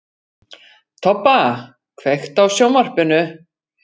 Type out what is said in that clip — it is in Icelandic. Tobba, kveiktu á sjónvarpinu.